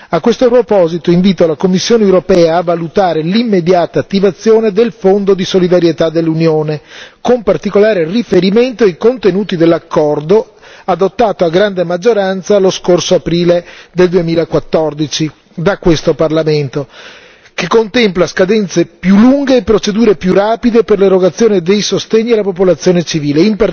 A questo proposito, invito la Commissione europea a valutare l'immediata attivazione del Fondo di solidarietà dell'Unione, con particolare riferimento ai contenuti dell'accordo adottato a grande maggioranza lo scorso aprile del 2014 da questo Parlamento, che contempla scadenze più lunghe e procedure più rapide per l'erogazione dei sostegni alla popolazione civile.